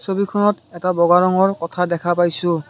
ছবিখনত এটা বগা ৰঙৰ কঠা দেখা পাইছোঁ।